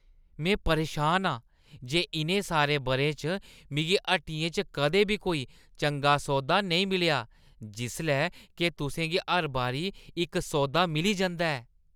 में परेशान आं जे इʼनें सारे बʼरें च मिगी हट्टियें च कदें बी कोई चंगा सौदा नेईं मिलेआ जिसलै के तुसें गी हर बारी इक सौदा मिली जंदा ऐ।